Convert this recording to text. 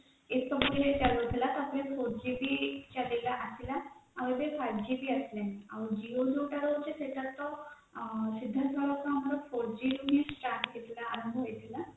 ଏସବୁରେ ଚାଲୁଥିଲା ତା ପରେ four g ଆସିଲା ଆଉ ଏବେ five g ଆସେ ଆଉ Jio ଯୋଉଟା ହଉଛି ସେଇଟା ତ ସେତେବେଳେ ତ ଆପଣଙ୍କର four g ତ start ହେଇଥିଲା ଆରମ୍ଭ ହେଇଥିଲା